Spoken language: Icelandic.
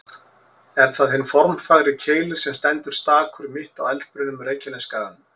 Er það hinn formfagri Keilir sem stendur stakur, mitt á eldbrunnum Reykjanesskaganum.